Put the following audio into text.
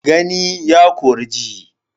Gani ya kori ji.